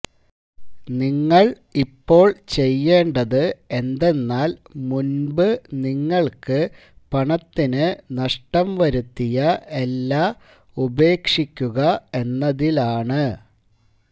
നിങ്ങൾ ഇപ്പോൾ ചെയേണ്ടത് എന്തെന്നാൽ മുൻപ് നിങ്ങൾക്ക് പണത്തിനു നഷ്ടം വരുത്തിയ എല്ലാ ഉപേക്ഷിക്കുക എന്നതിലാണ്